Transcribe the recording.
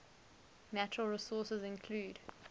natural resources include